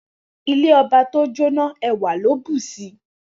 Ile oba to jo na, ewa lo bu si.